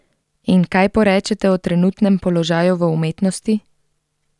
In kaj porečete o trenutnem položaju v umetnosti?